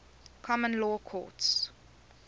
common law courts